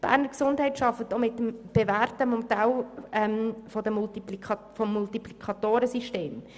Die Beges arbeitet mit dem bewährten Multiplikatoren-Modell.